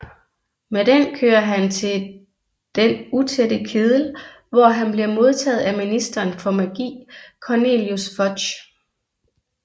Med den kører han til Den Utætte Kedel hvor han bliver modtaget af ministeren for magi Cornelius Fudge